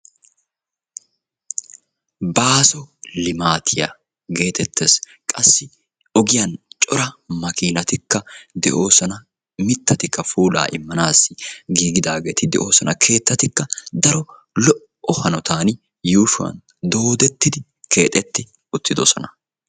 Baaso limaatiya geetetees. qassi ogiyan cora makiinatikka de'oosona. mitatikka puulaa imanaassi giigidaageeti de'oososna.